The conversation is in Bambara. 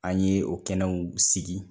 An ye o kɛnɛw sigi.